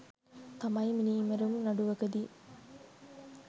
තමයි මිනීමැරුම් නඩුවකදී